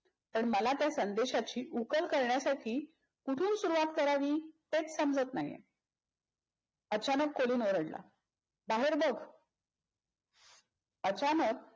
पण मला त्या संदेशाची उकल करण्यासाठी कुठून सुरुवात करावी तेच समजत नाहीये. अचानक कोलिन ओरडला. बाहेर बघ. अचानक